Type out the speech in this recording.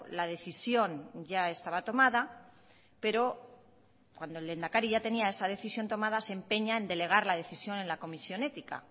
la decisión ya estaba tomada pero cuando el lehendakari ya tenía tomada se empeña en delegar la decisión en la comisión ética